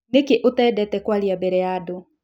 Nĩkĩ ũtendete kwaria mbere ya andũ?